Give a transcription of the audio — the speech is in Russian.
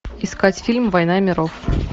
искать фильм война миров